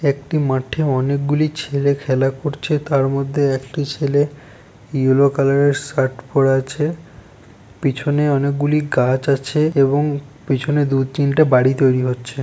একটি মাঠে অনেকগুলি ছেলে খেলা করছে। তার মধ্যে একটি ছেলে ইয়েলো কালার -এর শার্ট পড়ে আছে পিছনে অনেকগুলি গাছ আছে এবং পিছনে দুই তিনটা বাড়ি তৈরি হচ্ছে ।